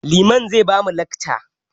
Liman zai ba mu lacca